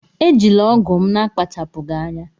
Ejila ọgụ m n'akpachapụghị anya!